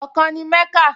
Ọkàn ni Mẹ́kà